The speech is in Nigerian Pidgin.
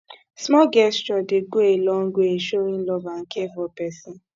small gesture dey go a long way in showing love and care for pesin